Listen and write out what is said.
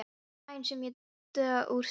Daginn sem ég dó úr sælu.